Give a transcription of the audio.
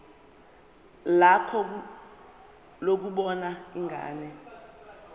lakho lokubona ingane